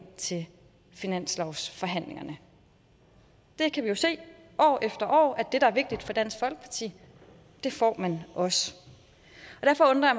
til finanslovsforhandlingerne vi kan jo se år efter år at det der er vigtigt for dansk folkeparti får man også derfor